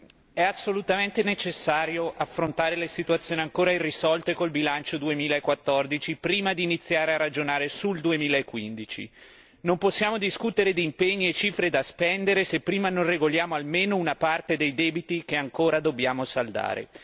Signora Presidente, onorevoli colleghi, è assolutamente necessario affrontare le situazioni ancora irrisolte con il bilancio 2014, prima di iniziare a ragionare sul 2015. Non possiamo discutere di impegni e cifre da spendere se prima non regoliamo almeno una parte dei debiti che ancora dobbiamo saldare.